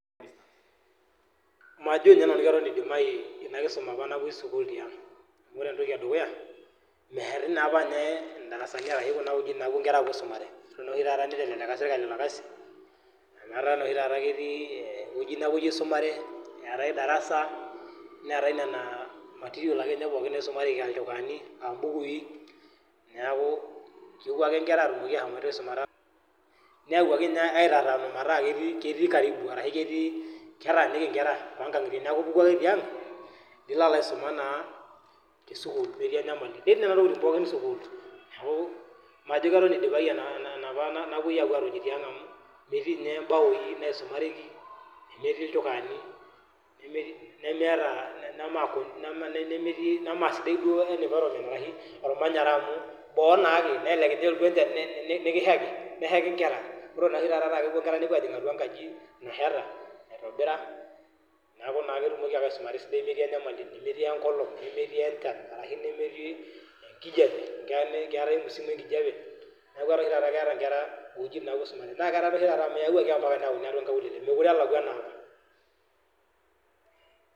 Majo ninye nanu keton idimayu inakisuma apa napuoi ang amu ore entoki edukuya meeti naapa ndarasani ashu kuna wuejitin napuo nkera aisumare ore oshi taata nitelelia sirkali orkasi amu etaa noshi taata ketii ewueji nepuoi aisumare eetae darasa neetae nena materials akeninye naisumareki aa ilchukaani aambukui niaku kepuo ake nkera atumoki aisumata ,neyawuaki ninye aitataanu metaa ketii karibu niaku ipuku ake tiang nilo aisuma metii enyamali .